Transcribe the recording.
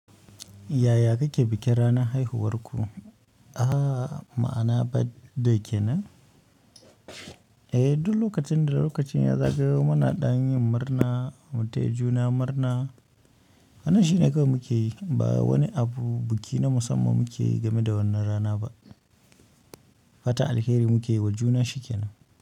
Yaya kake bikin ranar haihuwarku? Aaa, ma'ana birthday kenan? Eh, duk lokacin da lokacin ya zagayo muna ɗan yin murna, mu taya juna murna. Wannan shi ne kawai muke yi, ba wani abu biki na musamman muke yi game da wannan rana ba. Fatan alheri muke yi wa juna shi kenan.